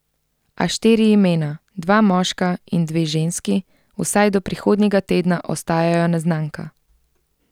A štiri imena, dva moška in dve ženski, vsaj do prihodnjega tedna ostajajo neznanka.